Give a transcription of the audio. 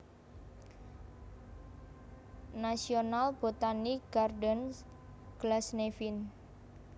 National Botanic Gardens Glasnevin